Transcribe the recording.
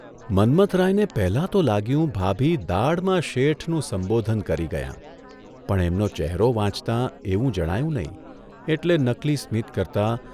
'મન્મથરાયને પહેલાં તો લાગ્યું ભાભી દાઢમાં ' શેઠ'નું સંબોધન કરી ગયાં, પણ એમનો ચહેરો વાંચતા એવું જણાયું નહીં એટલે નકલી સ્મિત કરતા